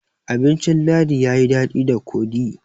abincin ladi ya yi dadi da kodi